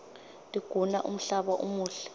tiguna umhlaba umuhle